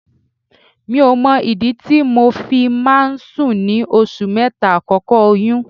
Mi ò mọ ìdí tí mo fi máa ń sùn ní oṣù mẹ́ta àkọ́kọ́ oyún.